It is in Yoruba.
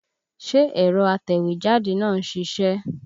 Ṣé ẹ̀rọ atẹ̀wẹ́jáde náà ń ṣiṣẹ́?